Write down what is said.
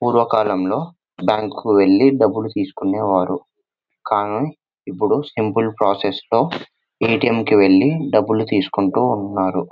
పూర్వకాలంలో బ్యాంకుకు వెళ్లి డబ్బులు తీసుకునేవారు కానీ ఇప్పుడు సింపుల్ ప్రాసెస్ లో ఏ.టీ.ఎం కి వెళ్లి డబ్బులు తీసుకుంటూ ఉన్నారు.